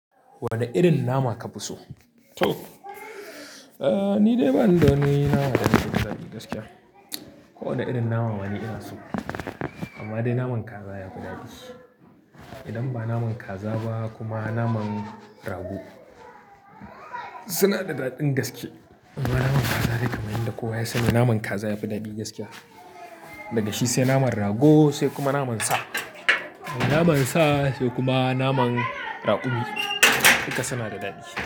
Wanne irin nama ka fi so? To, eh ni dai bani da wani naman da nake jin dadi gaskiya. Ko wanne irin nama ma ni ina so amma dai naman kaza yafi daɗi. Idan ba naman kaza ba kuma naman rago suna da daɗin gaske. Amma naman kaza dai kam yanda kowa ya sani naman kaza yafi daɗi gaskiya. Daga shi sai naman rago sai kuma naman sa. Naman sa sai kuma naman raƙumi duka suna da daɗi.